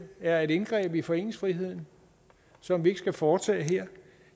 er et indgreb i foreningsfriheden som vi ikke skal foretage her